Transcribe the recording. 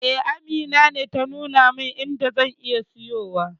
E, Amina ce ta nuna min inda zan iya siyowa.